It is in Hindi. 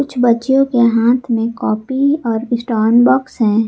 बच्चियों के हाथ में कॉपी और स्टोन बॉक्स है।